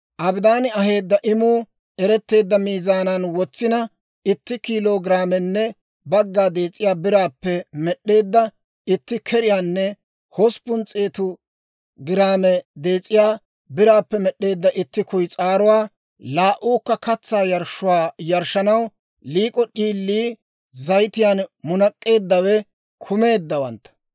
Abidaani aheedda imuu eretteedda miizaanan wotsina, itti kiilo giraamenne bagga dees'iyaa biraappe med'd'eedda itti keriyaanne hosppun s'eetu giraame dees'iyaa biraappe med'd'eedda itti kuyis'aaruwaa, laa"uukka katsaa yarshshuwaa yarshshanaw liik'o d'iilii, zayitiyaan munak'k'eeddawe kumeeddawantta;